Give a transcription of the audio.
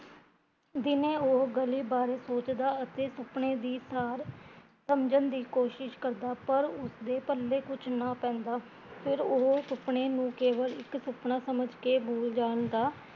ਦਿਨੇ ਉਹ ਗਲੀ ਬਾਰੇ ਸੋਚਦਾ ਅਤੇ ਸੁਪਨੇ ਦੀ ਤਾਰ ਸਮਜਣ ਦੀ ਕੋਸ਼ਿਸ਼ ਕਰਦਾ ਪਰ ਉਸਦੇ ਪੱਲੇ ਕੁਜ ਨਾ ਪੈਂਦਾ, ਫਿਰ ਉਹ ਸੁਪਨੇ ਨੂ ਕੇਵਲ ਇੱਕ ਸੁਪਨਾ ਸਮਜ ਕੇ ਬੂਲ ਜਾਣਦਾ